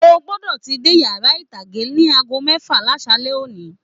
O gbọdọ tí dé yàrá itage ní aago mẹfa l'asalẹ̀ òní.